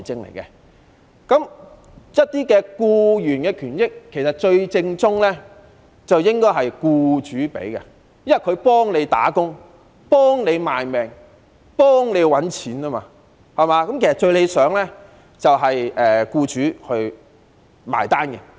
其實，對於僱員權益，最正統的做法便是由僱主提供，因為僱員替他們打工、為他們賣命、幫他們賺錢，故此最理想的做法應該是由僱主"埋單"。